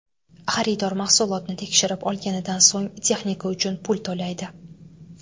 Xaridor mahsulotni tekshirib olganidan so‘ng, texnika uchun pul to‘laydi.